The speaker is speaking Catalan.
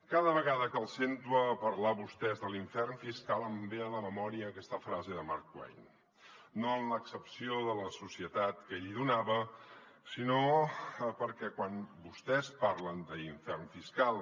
cada vegada que els sento parlar a vostès de l’infern fiscal em ve a la memòria aquesta frase de mark twain no en l’accepció de la societat que ell donava sinó perquè quan vostès parlen d’ infern fiscal